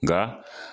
Nka